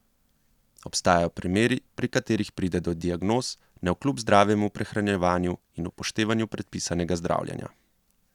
Obstajajo primeri, pri katerih pride do diagnoz, navkljub zdravemu prehranjevanju in upoštevanju predpisanega zdravljenja.